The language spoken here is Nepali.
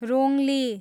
रोङ्ली